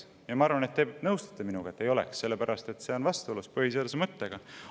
Ja ma arvan, et te nõustute minuga, et ei oleks, sellepärast et see on vastuolus põhiseaduse mõttega.